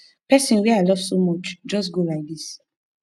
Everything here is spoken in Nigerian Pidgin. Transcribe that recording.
pesin wey i love so much just go like this